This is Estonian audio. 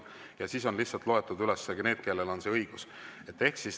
Ja siis on lihtsalt loetletud üles need, kellel on see õigus.